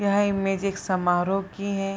यह इमेज एक समारोह की है।